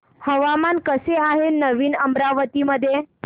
हवामान कसे आहे नवीन अमरावती मध्ये